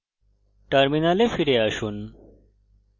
terminal ফিরে আসুন